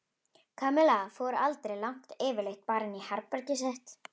Kamilla fór aldrei langt yfirleitt bara inn í herbergið sitt.